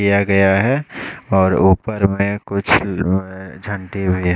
दिया गया है और ऊपर में कुछ व झँटी बजे--